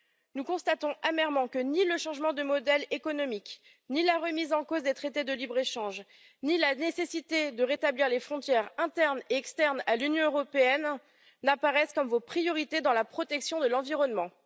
Nous constatons amèrement que ni le changement de modèle économique, ni la remise en cause des traités de libre échange, ni la nécessité de rétablir les frontières internes et externes à l'Union européenne n'apparaissent comme vos priorités dans la protection de l'environnement.